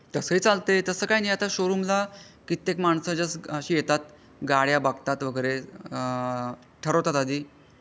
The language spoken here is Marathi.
तसा हि चालते तसं काही नाही आता शोरूमला कित्येक माणसाच्या अशी येतात गाड्या बघतात वगैरे ठरवतात आधी.